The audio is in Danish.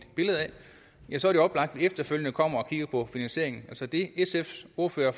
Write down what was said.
efterfølgende kommer og kigger på finansieringen så det sfs ordfører